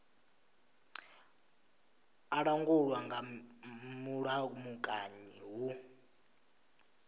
a langulwa nga mulamukanyi hu